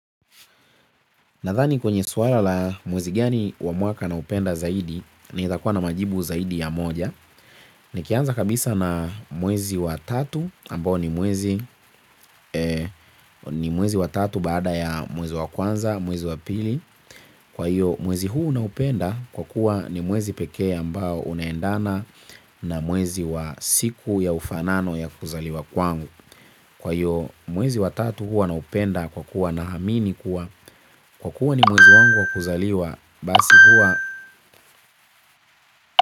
Nadhani kwenye suala la mwezi gani wa mwaka naupenda zaidi naezakua na majibu zaidi ya moja. Nikianza kabisa na mwezi wa tatu ambao ni mwezi wa tatu baada ya mwezi wa kwanza, mwezi wa pili. Kwa hiyo mwezi huu naupenda kwa kuwa ni mwezi pekee ambao unaendana na mwezi wa siku ya ufanano ya kuzaliwa kwangu. Kwa hiyo mwezi wa tatu huwa naupenda kwa kuwa naamini kuwa kwa kuwa ni mwezi wangu wa kuzaliwa basi huwa.